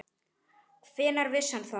Hvenær vissi hann það?